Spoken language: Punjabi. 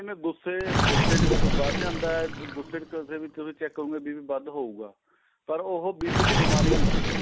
ਜਿਵੇਂ ਗੁੱਸੇ ਗੁੱਸੇ ਚ ਵੱਧ ਜਾਂਦਾ ਏ ਗੁੱਸੇ ਚ ਕਦੇਂ ਵੀ ਤੁਸੀਂ check ਕਰੋਗੇ BP ਵੱਧ ਹਉਗਾ ਪਰ ਉਹ BP ਦੀ ਬੀਮਾਰੀ ਨਹੀਂ ਹੈਗੀ